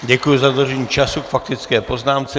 Děkuji za dodržení času k faktické poznámce.